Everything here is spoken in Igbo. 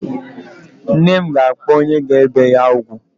Nne m ga-akpọ onye ga-ebe ya ugwu.